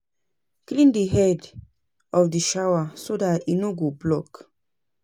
Clean di head of di shower so dat e no go block